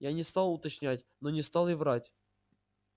я не стал уточнять но не стал и врать